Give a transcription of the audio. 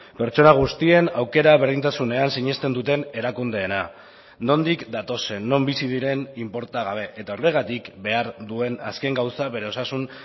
pertsona guztien aukera berdintasunean sinesten duten erakundeena nondik datozen non bizi diren inporta gabe eta horregatik behar duen azken gauza bere osasun